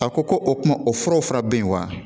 A ko ko o kuma o furaw fura bɛ yen wa